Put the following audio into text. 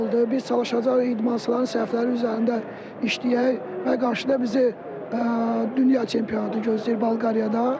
Biz çalışacağıq idmançıların səhfləri üzərində işləyək və qarşıda bizi dünya çempionatı gözləyir Bolqarıyada.